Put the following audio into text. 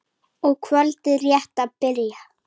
og kvöldið rétt að byrja!